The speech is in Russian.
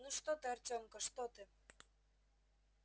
ну что ты артемка что ты